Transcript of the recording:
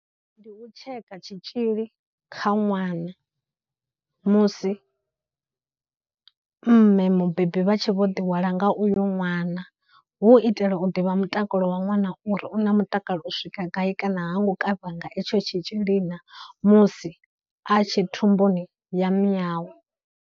Ndi u tsheka tshitzhili kha ṅwana musi mme mubebi vha tshe vho ḓihwala nga uyo ṅwana u hu u itela u ḓivha mutakalo wa ṅwana uri u na mutakalo u swika gai kana hango kavhiwa nga etsho tshitzhili na musi a tshe thumbuni ya miyawe.